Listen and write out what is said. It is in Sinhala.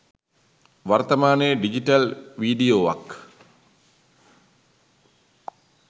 වර්තමානයේ ඩිජටල් විඩියෝවක්